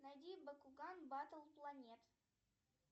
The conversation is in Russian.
найди бакуган баттл планет